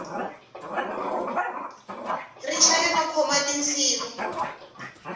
ri chaya no khoma tinsimu